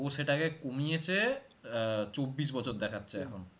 ও সেটা কমিয়ে এসে আহ চব্বিশ বছর দেখাচ্ছে এখন